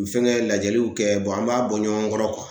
U fɛngɛn lajɛluw kɛ bɔn an b'a bɔ ɲɔgɔn kɔrɔ kuwa